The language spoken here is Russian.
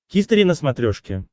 хистори на смотрешке